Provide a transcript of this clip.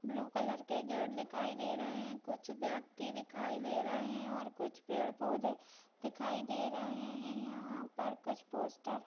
Blue colour के gate दिखाई दे रहे हैं कुछ व्यक्ति दिखाई दे रहे हैं और कुछ पेड़-पौधे दिखाई दे रहे हैं। यहाँ पर कुछ पोस्टर --